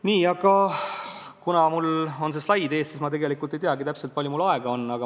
Nii, kuna mul on see slaid ekraanil ees, siis ma tegelikult ei teagi täpselt, palju mul veel aega on.